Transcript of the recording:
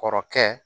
Kɔrɔkɛ